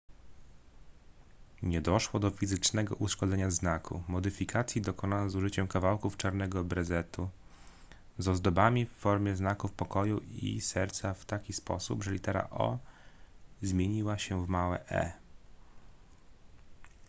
nie doszło do fizycznego uszkodzenia znaku modyfikacji dokonano z użyciem kawałków czarnego brezentu z ozdobami w formie znaków pokoju i serca w taki sposób że litera o zmieniła się w małe e